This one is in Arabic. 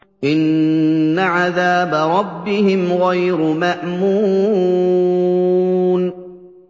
إِنَّ عَذَابَ رَبِّهِمْ غَيْرُ مَأْمُونٍ